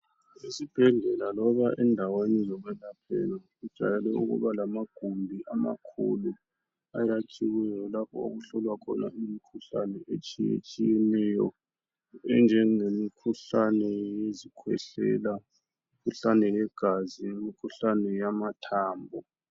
Esibhedlela loba endaweni zokwelaphela, kujayele ukuba lamagumbi, amakhulu. Ayakhiweyo. Lapho okuhlolwa khona imikhuhlane etshiyatshiyeneyo. Enjengemikhuhlane yesikhwehlela, imikhuhkane yegazi, imikhuhlane yamathambo.